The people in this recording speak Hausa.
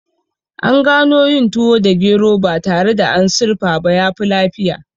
An gano yin tuwo da gero ba tare da an sirfa ba yafi lafiya